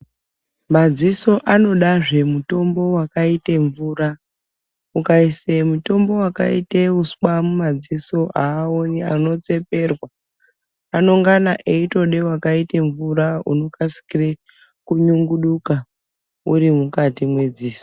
Madziso anoda zve mutombo wakaite mvura ukaise mutombo wakaite uswa muma dziso aoni ano tseperwa anongana eitode wakaite mvura unokasire kunyunguduka uri mukati medziso.